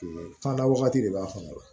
fanda wagati de b'a fankɔnɔ